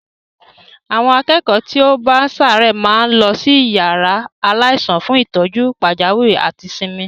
Àwọn akẹ́kọ̀ọ́ tí ó bá ń ṣàárẹ̀ máa ń lọ sí yàrá aláìsàn fún ìtọ́jú pàjáwìrì àti ìsinmi.